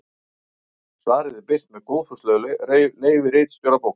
Svarið er birt með góðfúslegu leyfi ritstjóra bókarinnar.